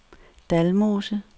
Dalmose